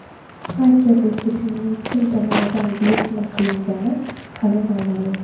Xakerlik hujumining kim tomonidan buyurtma qilingani ham noma’lum.